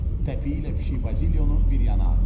Təpiyi ilə Pişik Bazilyonu bir yana atdı.